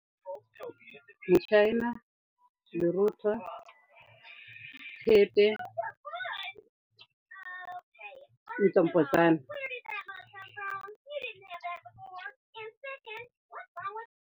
Motšhaena, lerotho, thepe .